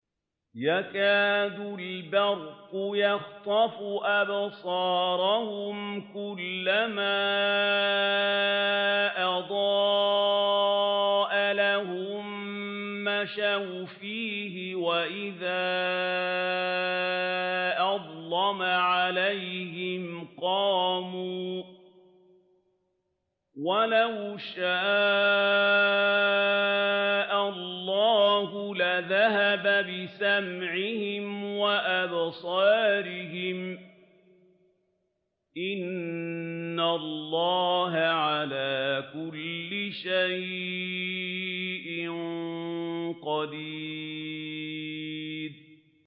يَكَادُ الْبَرْقُ يَخْطَفُ أَبْصَارَهُمْ ۖ كُلَّمَا أَضَاءَ لَهُم مَّشَوْا فِيهِ وَإِذَا أَظْلَمَ عَلَيْهِمْ قَامُوا ۚ وَلَوْ شَاءَ اللَّهُ لَذَهَبَ بِسَمْعِهِمْ وَأَبْصَارِهِمْ ۚ إِنَّ اللَّهَ عَلَىٰ كُلِّ شَيْءٍ قَدِيرٌ